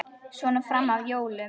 Svona fram að jólum.